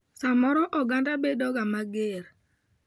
Samoro oganda bedoga mager.